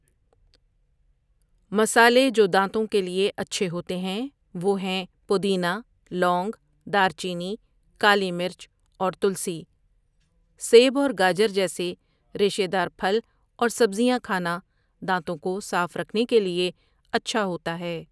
مصالحے جودانتوں کے لیے اچھے ہوتے ہیں وہ ہیں پودینہ، لونگ، دار چینی، کالی مرچ اور تلسی سیب اور گاجر جیسے ریشے دار پھل اور سبزیاں کھانا دانتوں کو صاف رکھنے کےلیے اچھا ہوتا ہے۔